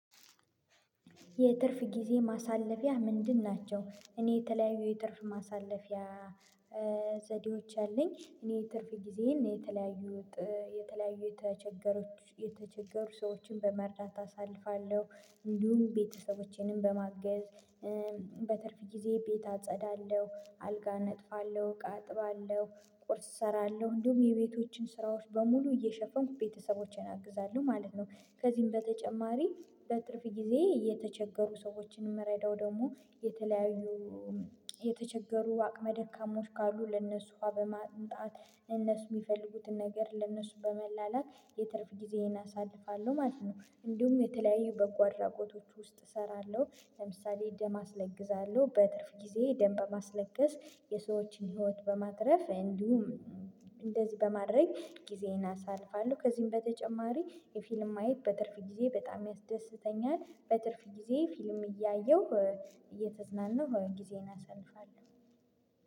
የትርፍ ጊዜ ማሳለፊያህ ምንድን ናቸው? እኔ የተለያዩ የትርፍ ማሳለፊያ ዘዴዎች አለኝ እኔ ትርፍ ጊዜዬን የተለያዩ የተለያዩ የተቸገሩ የተቸገሩ ሰዎችን በመርዳት አሳልፋለሁ እንዲሁም ቤተሰቦቼንም በማገዝ በትርፍ ጊዜ ቤት አጸዳለሁ አልጋ አነጥፋለሁ እቃ አጥባለሁ ቁርስ እሰራለሁ እንዲሁም የቤቶችን ስራዎች በሙሉ እየሸፈንኩ ቤተሰቦቼን አግዛለሁ ማለት ነው። ከዚህም በተጨማሪ በትርፍ ጊዜ የተቸገሩ ሰዎችን የምረዳው ደግሞ የተለያዩ የተቸገሩ አቅመ ደካማዎች ካሉ ለነሱ ውሃ በማምጣት እነሱ የሚፈልጉትን ነገር ለነሱ በመላላክ የትርፍ ጊዜዬን አሳልፋለሁ ማለት ነው። እንዲሁም የተለያዩ በጎ አድራጎቶች ውስጥ እሰራለሁ ለምሳሌ ደም አስለግሳለሁ በትርፍ ጊዜ ደንበ ማስለቀስ የሰዎችን ህይወት በማትረፍ እንዲሁም እንደዚህ በማድረግ ጊዜዬን አሳልፋለሁ። ከዚህም በተጨማሪ ፊልም ማየት በትርፍ ጊዜ በጣም ያስደስተኛል በትርፍ ጊዜ ፊልም እያየሁ እየተዝናነሁ ጊዜን አሳልፋለሁ